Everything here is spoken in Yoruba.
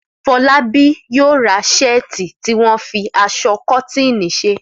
Fọlábí yóò ra ṣẹ́ẹ̀tì tí wọ́n fi aṣọ kọ́tíìnì ṣe.